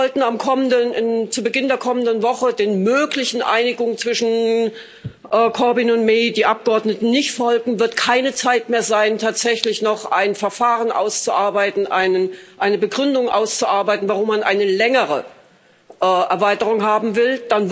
Sollten die Abgeordneten zu Beginn der kommenden Woche der möglichen Einigung zwischen Corbyn und May nicht folgen, wird keine Zeit mehr sein, tatsächlich noch ein Verfahren auszuarbeiten, eine Begründung auszuarbeiten, warum man eine längere Verlängerung haben will.